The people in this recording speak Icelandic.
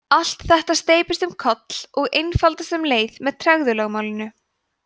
allt þetta steypist um koll og einfaldast um leið með tregðulögmálinu